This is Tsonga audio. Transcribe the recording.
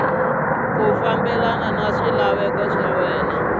ku fambelena na swilaveko swa